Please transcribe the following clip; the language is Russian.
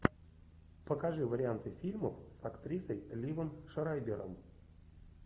покажи варианты фильмов с актрисой ливом шрайбером